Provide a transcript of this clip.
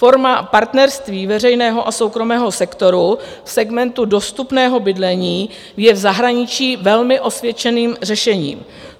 Forma partnerství veřejného a soukromého sektoru v segmentu dostupného bydlení je v zahraničí velmi osvědčeným řešením.